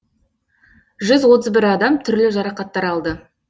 жүз отыз бір адам түрлі жарақаттар алды